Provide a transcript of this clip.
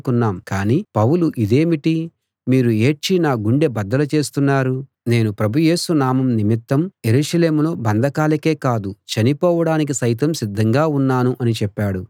కానీ పౌలు ఇదేమిటి మీరు ఏడ్చి నా గుండె బద్దలు చేస్తున్నారు నేను ప్రభు యేసు నామం నిమిత్తం యెరూషలేములో బంధకాలకే కాదు చనిపోవడానికి సైతం సిద్ధంగా ఉన్నాను అని చెప్పాడు